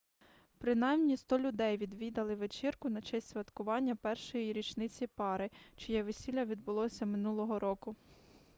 принаймні 100 людей відвідали вечірку на честь святкування першої річниці пари чиє весілля відбулося минулого року